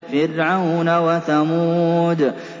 فِرْعَوْنَ وَثَمُودَ